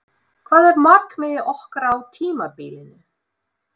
Hvað er markmiðið okkar á tímabilinu?